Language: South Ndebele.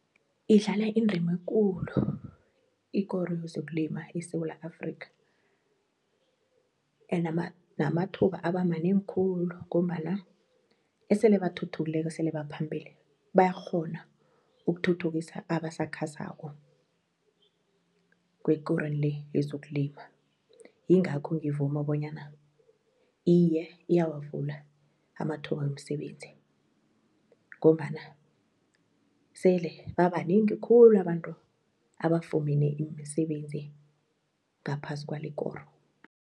Idlala indima ekulu ikoro yezokulima eSewula Afrika namathuba abemanengi khulu ngombana esele bathuthukileko esele baphambili bayakghona ukuthuthukisa abasakhasako kwekorweni le yezokulima, yingakho ngivuma bonyana iye iyawavula amathuba wemsebenzi ngombana sele babanengi khulu abantu abafune imisebenzi ngaphasi kwalekoro.